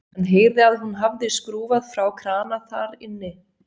Hann heyrði að hún hafði skrúfað frá krana þar inni.